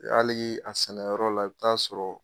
hali a sɛnɛyɔrɔ la i bɛ taa'a sɔrɔ